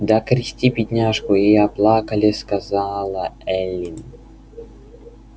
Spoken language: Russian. да окрестил бедняжку и оплакали сказала эллин